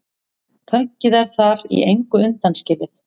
Pönkið er þar í engu undanskilið.